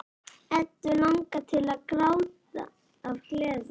Eddu langar til að gráta af gleði.